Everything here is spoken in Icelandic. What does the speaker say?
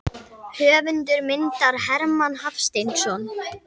Höfundur myndar: Hermann Hafsteinsson.